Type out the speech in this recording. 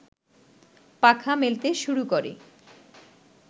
পাখা মেলতে শুরু করে